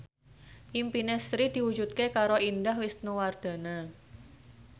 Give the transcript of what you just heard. impine Sri diwujudke karo Indah Wisnuwardana